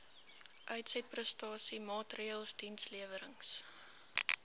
uitsetprestasie maatreëls dienslewerings